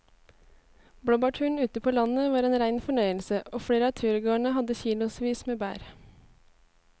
Blåbærturen ute på landet var en rein fornøyelse og flere av turgåerene hadde kilosvis med bær.